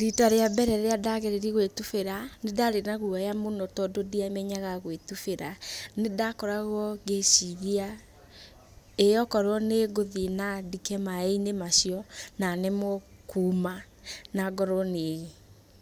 Rita rĩa mbere rĩrĩa ndageririe gwitubĩra ,nĩndarĩ na guoya mũno tondũ ndiamenyaga gwĩtubĩra nĩndakoragwo ngĩciria,''ĩĩ wakorwo nĩngũthiĩ na ndike maĩinĩ macio na nemwo kuuma na ngorwo nĩ